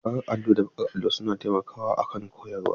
Bakar allo da farar allo suna taimakawa akan koyarwa.